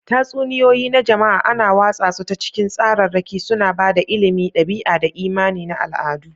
Tatsuniyoyi na jama'a ana watsa su ta cikin tsararraki, suna ba da ilimi, ɗabi'a, da imani na al'adu.